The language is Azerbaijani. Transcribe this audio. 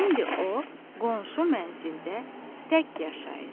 İndi o qonşu mənzildə tək yaşayır.